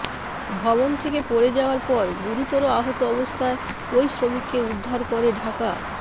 ভবন থেকে পড়ে যাওয়ার পর গুরুতর আহত অবস্থায় ওই শ্রমিককে উদ্ধার করে ঢাকা